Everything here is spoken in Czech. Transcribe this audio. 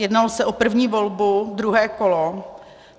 Jednalo se o první volbu, druhé kolo.